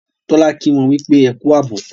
Tola ki wón wípé ẹkú abọ.